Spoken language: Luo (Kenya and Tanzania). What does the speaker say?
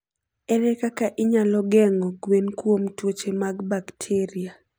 Ere kaka inyalo geng'o gwen kuom tuoche mag bakteria?